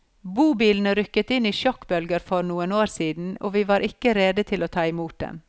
Bobilene rykket inn i sjokkbølger for noen år siden og vi var ikke rede til å ta i mot dem.